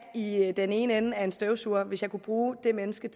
i i den ene ende af en støvsuger altså hvis jeg kunne bruge det menneske